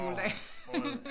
Åh fråd